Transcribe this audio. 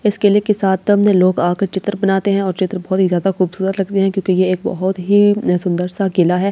इस किले के सातम्‍द लोग आकर चित्र बनाते है और चित्र बहुत ही जादा खूबसूरत लगते है क्‍योंकि ये एक बहुत ही सुंदर सा किला है ये --